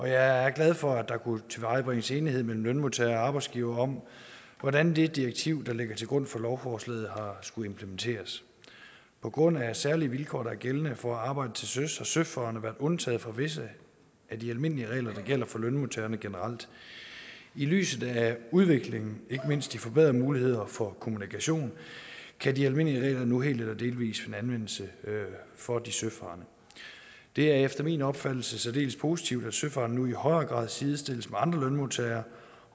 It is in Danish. jeg er glad for at der kunne tilvejebringes enighed mellem lønmodtagere og arbejdsgivere om hvordan det direktiv der ligger til grund for lovforslaget skal implementeres på grund af særlige vilkår der er gældende for at arbejde til søs har søfarende været undtaget fra visse af de almindelige regler der gælder for lønmodtagerne generelt i lyset af udviklingen og ikke mindst de forbedrede muligheder for kommunikation kan de almindelige regler nu helt eller delvis finde anvendelse for de søfarende det er efter min opfattelse særdeles positivt at søfarende nu i højere grad sidestilles med andre lønmodtagere